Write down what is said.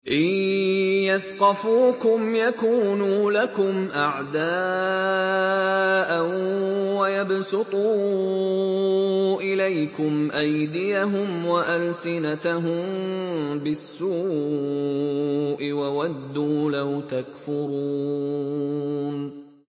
إِن يَثْقَفُوكُمْ يَكُونُوا لَكُمْ أَعْدَاءً وَيَبْسُطُوا إِلَيْكُمْ أَيْدِيَهُمْ وَأَلْسِنَتَهُم بِالسُّوءِ وَوَدُّوا لَوْ تَكْفُرُونَ